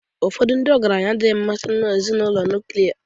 Ụfọdụ ndị ọgaranya adịghị amasị ezinụlọ nuklia